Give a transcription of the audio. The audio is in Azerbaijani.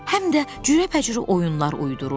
Həm də cürəbəcürə oyunlar uydururdu.